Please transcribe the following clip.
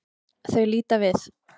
Þau líta við.